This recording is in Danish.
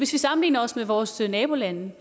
sammenligner os med vores nabolande